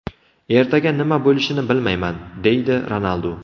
Ertaga nima bo‘lishini bilmayman”, – deydi Ronaldu.